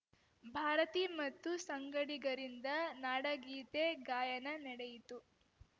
ಭಾರತಿ ಮತ್ತು ಸಂಗಡಿಗರಿಂದ ನಾಡಗೀತೆ ಗಾಯನ ನಡೆಯಿತು